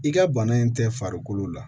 I ka bana in tɛ farikolo la